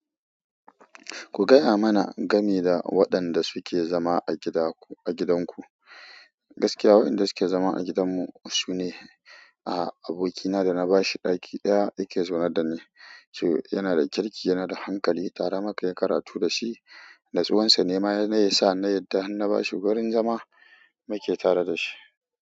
Ku gaya mana game da waɗanda suke zama a gidanku. Gaskiya wa'inda suke zama a gidan mu sune. Ah abokina da na bashi ɗaki ɗaya yake zaune da ni yana da kirki, yana da hankali, tare muka yi karatu da shi. Natsuwansa nema na iya sa na yadda har na ba shi wurin zama mu ke tare da shi.